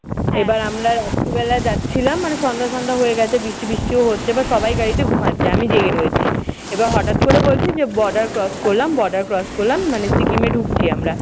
এইবার আমরা রাত্রিবেলা যাচ্ছিলাম মানে সন্ধ্যা সন্ধ্যা হয়ে গেছে বৃষ্টি বৃষ্টিও হচ্ছে বা সবাই গাড়িতে ঘুমাচ্ছে। আমি জেগে রয়েছি। এইবার হঠাৎ করে বলছে যে border cross করলাম border cross করলাম মানে সিকিমে ঢুকছি আমরা।